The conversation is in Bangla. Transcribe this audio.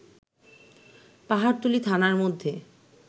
পাহাড়তলী থানার মধ্যে